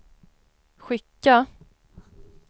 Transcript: skicka